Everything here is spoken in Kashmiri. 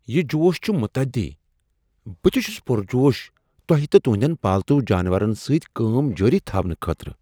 یہ جوش چھ متعدی! بہٕ تِہ چھس پرجوش تۄہہ تہٕ تہنٛدؠن پالتو جانورن سۭتۍ کٲم جٲری تھاونہٕ خٲطرٕ۔